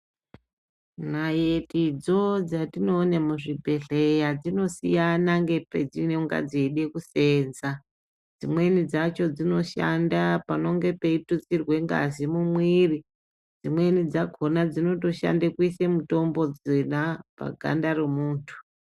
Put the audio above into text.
Naitidzo dzatinoona muzvibhedhleya dzinosiyana nepadzinonga dzeida kuseenza dzimweni dzacho dzinoshanda panonge peitutsirwa ngazi mumwiri dzimweni dzakhona dzinotoshande kuise mutombo dzona paganda remuntu.